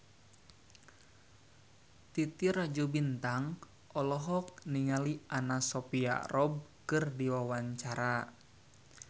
Titi Rajo Bintang olohok ningali Anna Sophia Robb keur diwawancara